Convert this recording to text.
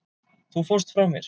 Þú fórst frá mér.